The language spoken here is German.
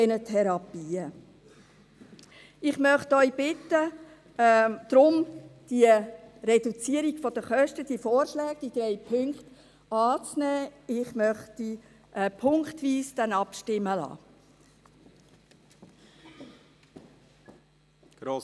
Ich möchte Sie darum bitten, die Reduzierung der Kosten, die Vorschläge, die drei Punkte anzunehmen, und ich möchte dann punktweise abstimmen lassen.